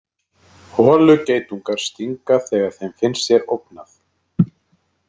Holugeitungar stinga þegar þeim finnst sér ógnað.